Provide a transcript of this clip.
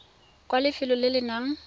kwa lefelong le le nang